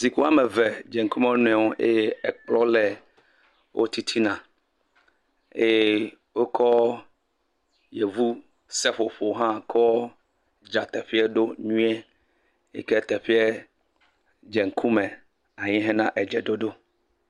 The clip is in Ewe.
Zikpui wɔme eve dze ŋkume wo nɔewo eye ekplɔ le wo titina eye wokɔ yevu seƒoƒo hã kɔ dzra teƒea ɖo nyuie, yike teƒea dze ŋkume hena edzeɖoɖo.